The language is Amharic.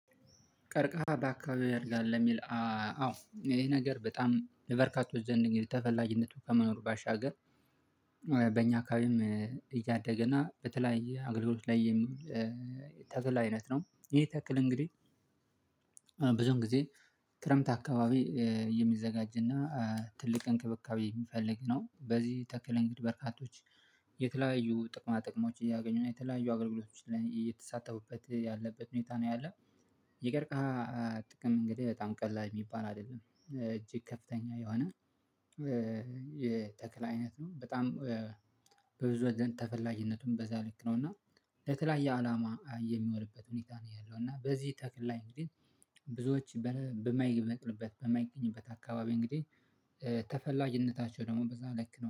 ቀርቀሃ በአካባቢው ያድጋል ለሚል። አዎ ይሄ ነገር በጣም ለበርካቶች ዘንድ እንግዲህ ተፈላጊነቱ ከመኖሩ ባሻገር በእኛ አካባቢም እያደገ እና በተለያየ አገልግሎት ላይ። ተክል አይነት ነው ይሄ ተክል እንግዲህ። ብዙም ጊዜ ክረምት አካባቢ የሚዘጋጅና ትልቅ እንክብካቤ የሚፈልግ ነው። በዚህ ተክለ እንግዲህ በርካቶች የተለያዩ ጥቅማ ጥቅሞች እያገኙ ነው የተለያዩ አገልግሎቶችን እየተሳተፉበት ያለበት ሁኔታ ነው ያለው። የቀርክሃ ጥቅም እንግዲህ በጣም ቀላል የሚባል አይደለም እጅግ ከፍተኛ የሆነ የተክል አይነት ነው። በጣም በብዙ ወገን ተፈላጊነቱም በዛ ልክ ነው። እና የተለያየ አላማ የሚሆንበት ሁኔታ ነው ያለው። እና በዚህ ተክል ላይ እንግዲህ ብዙዎች በማይበቅልበት በማይገኝበት አካባቢ እንግዲህ ተፈላጊነታቸው ደግሞ በዛ ልክ ነው